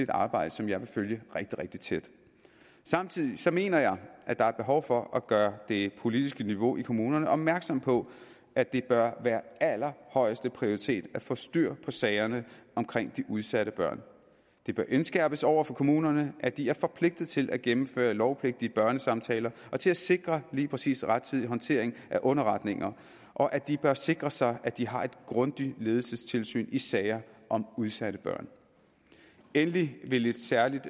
arbejde som jeg vil følge rigtig rigtig tæt samtidig mener jeg at der er behov for at gøre det politiske niveau i kommunerne opmærksom på at det bør være allerhøjeste prioritet at få styr på sagerne om de udsatte børn det bør indskærpes over for kommunerne at de er forpligtet til at gennemføre lovpligtige børnesamtaler og til at sikre lige præcis rettidig håndtering af underretninger og at de bør sikre sig at de har et grundigt ledelsestilsyn i sager om udsatte børn endelig vil et særligt